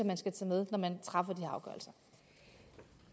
man skal tage med når man træffer